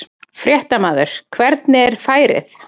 Fréttamaður: Hvernig er færið?